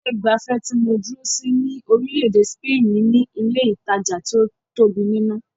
Ilé ìgbafẹ́ tí mó dúró sí ní orílẹ̀-èdè spaini ní ilé ìtajà tí o tóbi nínú.